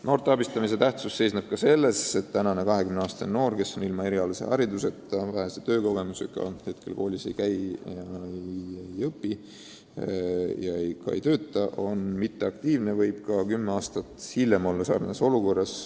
Noorte abistamise tähtsus seisneb ka selles, et tänane 20-aastane noor, kel pole erialast haridust ega erilist töökogemust, kes on passiivne, ei käi koolis ega tööl, võib ka kümme aastat hiljem olla samasuguses olukorras.